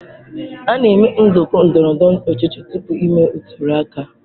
a na-eme nzụkọ ndọrọ ndọrọ ọchịchị tupu emee ntuli aka.